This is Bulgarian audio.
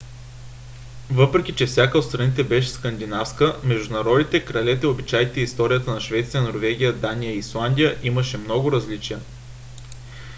въпреки че всяка от страните беше скандинавска между народите кралете обичаите и историята на швеция норвегия дания и исландия имаше много различия